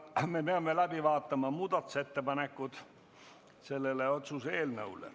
Me peame läbi vaatama selle otsuse eelnõu kohta esitatud muudatusettepanekud.